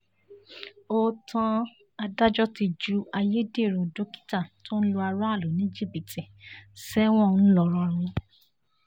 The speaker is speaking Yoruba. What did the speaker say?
ó tán adájọ́ ti ju ayédèrú dókítà tó ń lu aráàlú ní jìbìtì sẹ́wọ̀n ńlọrọrìn